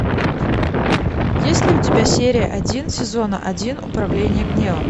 есть ли у тебя серия один сезона один управление гневом